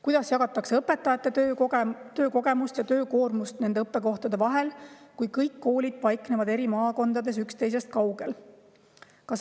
Kuidas jagatakse õpetajate töökogemust ja töökoormust nende õppekohtade vahel, kui kõik koolid paiknevad eri maakondades, üksteisest kaugel?